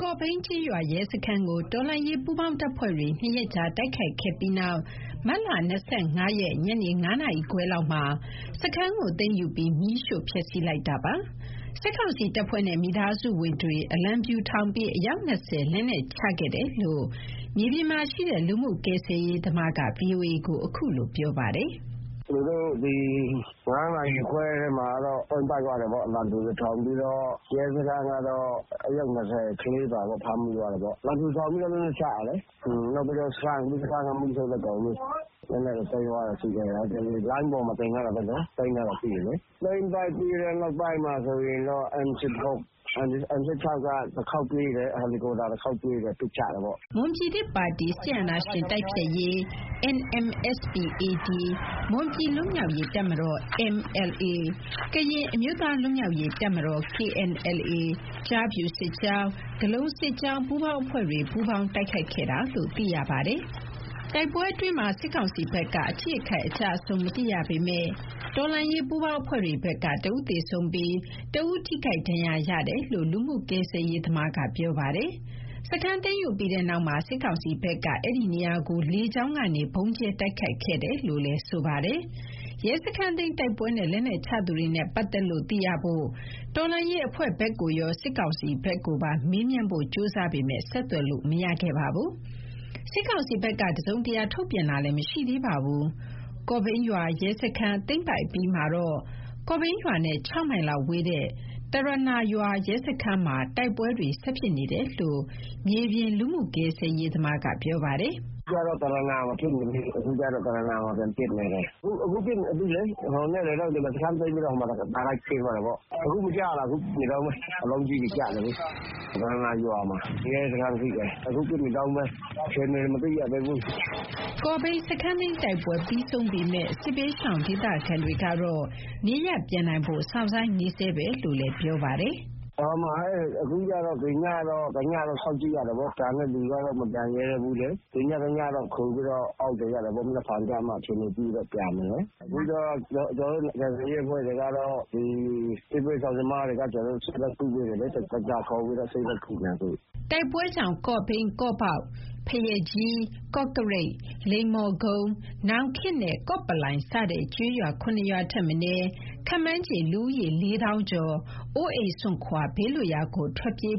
ကော့ဘိန်းကျေးရွာ ရဲစခန်းကို တော်လှန်ရေးပူးပေါင်းတပ်ဖွဲ့တွေ နှစ်ရက်ကြား တိုက်ခိုက်ခဲ့ပြီးနောက် မတ်လ ၂၅ ရက် ညနေ ၅ နာရီခွဲလောက်မှာ စခန်းကိုသိမ်းယူပြီး မီးရှို့ဖျက်ဆီးလိုက်တာပါ။ စစ်ကောင်စီတပ်ဖွဲ့နဲ့မိသားစုဝင်တွေ အလံဖြူထောင်ပြီး အယောက် ၂၀ လက်နက်ချခဲ့တယ်လို့ မြေပြင်မှာရှိတဲ့ လူမှုကယ်ဆယ်ရေးသမားက ဗွီအိုအေ ခုလို ပြောပါတယ်။ “သူတို့ ၅ နာရီခွဲမှာတော့ သိမ်းပိုက်သွားတယ်ပေါ့။ အလံဖြူတွေထောင်ပြီးတော့၊ ရဲစခန်းကတော့ အယောက် ၂၀။ ကလေးအပါပေါ့၊ ဖမ်းမိသွားတယ်ပေါ့။ အလံဖြူထောင်ပြီးတော့ လက်နက်ချတယ်လေ။ ပြီးတော့ စခန်းကို မီးရှို့လိုက်ကုန်ပြီ။ လက်နက်တွေ သိမ်းရတာရှိတယ်။ လိုင်းပေါ်မှာ တင်ထားတာပဲလေ၊ သိမ်းထားတာရှိတယ်လေ။ သိမ်းပိုက်ထားတဲ့နောက်ပိုင်းမှာဆိုရင်တော့ M-16 က တခေါက်ပြေးတယ်၊ ဟယ်ရီကော့ပတာ တခေါက်ပြေးတယ်၊ ပစ်ချတယ်ပေါ့။” မွန်ပြည်သစ်ပါတီ NMSP-AD ၊ မွန်ပြည်လွတ်မြောက်ရေးတပ်မတော် ၊ ကရင်အမျိုးသားလွတ်မြောက်ရေးတပ်မတော် ၊ ကျားဖြူစစ်ကြောင်း၊ ဂဠုန်စစ်ကြောင်းပူးပေါင်းအဖွဲ့တွေ ပူးပေါင်းတိုက်ခိုက်ခဲ့တာလို့သိရပါတယ်။ တိုက်ပွဲအတွင်းမှာ စစ်ကောင်စီဘက်က အထိအခိုက်အကျအဆုံးမသိရပေမယ့် တော်လှန်ရေးပူးပေါင်းအဖွဲ့တွေဘက်က တဦးသေဆုံးပြီး တဦးထိခိုက်ဒဏ်ရာရရှိတယ်လို့ လူမှုဆယ်ကယ်ရေးသမားက ပြောပါတယ်။ စခန်းသိမ်းယူပြီးတဲ့နောက်မှာ စစ်ကောင်စီဘက်က အဲဒီ့နေရာကို လေကြောင်းကနေ ဗုံးကြဲတိုက်ခိုက်ခဲ့တယ်လို့လည်း ဆိုပါတယ်။ ရဲစခန်းသိမ်းတိုက်ပွဲနဲ့ လက်နက်ချသူတွေနဲ့ပတ်သက်လို့ သိရဖို့ တော်လှန်ရေးအဖွဲ့ဘက်ကိုရော စစ်ကောင်စီဘက်ကိုပါ မေးမြန်းဖို့ကြိုးစားပေမယ့် ဆက်သွယ်လို့မရခဲ့ပါဘူး။ စစ်ကောင်စီဘက်က တစုံတရာ ထုတ်ပြန်တာလည်းမရှိသေးပါဘူး။ ကော့ဘိန်းရွာရဲစခန်း သိမ်းပိုက်ပြီးနောက် ကော့ဘိန်းရွာနဲ့ ၆ မိုင်လောက်ဝေးတဲ့ တရနာရွာ ရဲစခန်းမှာ တိုက်ပွဲတွေ ဆက်ဖြစ်နေတယ်လို့ မြေပြင် လူမှုကယ်ဆယ်ရေးသမားက ပြောပါတယ်။ “အခုကျတော့ တရနာမှာ ဖြစ်နေပြီ။ အခုဖြစ်နေပြီလေ။ ဟိုညနေက ဒီမှာ စခန်းသိမ်းပြီးတော့ တဆက်တည်းဖြစ်သွားတာပေါ့။ အခု ကြားရလား၊ အခုပစ်နေတုန်းပဲ။ အလုံးကြီးတွေကျနေတယ်။ တရနာရွာမှာ ရဲစခန်းရှိတယ်။ အခုဖြစ်နေတုန်းပဲ။ အခြေအနေ မသိရသေးဘူး။” ကော့ဘိန်းစခန်းသိမ်းတိုက်ပွဲ ပြီးဆုံးပေမယ့် စစ်ဘေးရှောင်ဒေသခံတွေကတော့ နေရပ်ပြန်နိုင်ဖို့ စောင့်ဆိုင်းဆဲပဲလို့လည်း ပြောပါတယ်။ “အခုကတော့ ဒီညတော့ စောင့်ကြည့်ရတာပေါ့၊ ပြန်တဲ့လူက မပြန်ရဲသေးဘူး။ ဒီညတညတော့ ခိုပြီးတော့ စောင့်နေရတာပေါ့၊ မနက်ဖြန်ကျမှ အခြေအနေကြည့်ပြီးတော့ ပြန်မယ်လေ။ အခုတော့ ကျနော်တို့ ကယ်ဆယ်ရေးအဖွဲ့တွေကတော့ ဒီဘေးရှောင်သမားတွေကို ကျနော်တို့ ဆေးလိုက်ကုပေးနေတယ်လေ။ ဒေါက်တာခေါ်ပြီးတော့ ဆေးလိုက်ကုနေတယ် အခု။” တိုက်ပွဲကြောင့် ကော့ဘိန်း၊ ကော့ပေါက်၊ ဘုရားကြီး၊ ကော့ကရိတ်၊ လိမ္မော်ကုန်း၊ နောင်ခေတ်နဲ့ ကော့ပလိုင် စတဲ့ ကျေးရွာ ၇ ရွာထက်မနည်း ခန့်မှန်းခြေ လူဦးရေ လေးသောင်းကျော် အိုးအိမ်စွန့်ခွာ ဘေးလွတ်ရာကို ထွက်ပြေး